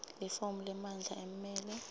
lifomu lemandla emmeli